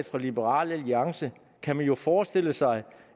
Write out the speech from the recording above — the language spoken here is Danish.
fra liberal alliance kan man jo forestille sig